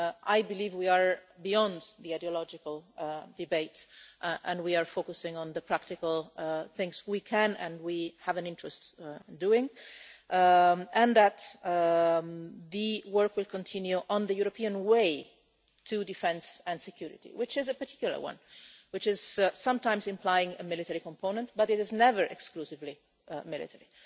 I believe we are beyond the ideological debate and we are focusing on the practical things we can and we have an interest in doing, and that the work will continue on the European way to defence and security, which is a particular one and which sometimes implies a military component but is never exclusively military.